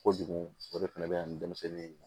Kojugu o de fɛnɛ be yan ni denmisɛnnin ye